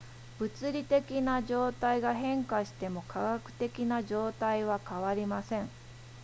物理的な状態が変化しても化学的な状態は変わりません